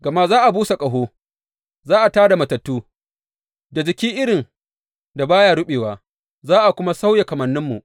Gama za a busa ƙaho, za a tā da matattu da jiki irin da ba ya ruɓewa, za a kuma sauya kamanninmu.